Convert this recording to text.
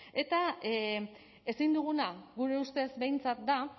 eta ezin duguna gure ustez behintzat da